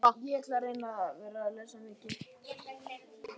Kolviður, hvaða sýningar eru í leikhúsinu á laugardaginn?